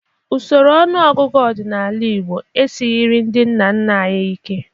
Usoro ọnụọgụgụ ọdịnala Igbo esighiri ndị nna nna anyị ike.